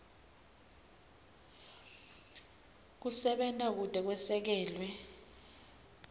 kusebenta kute kwesekelwe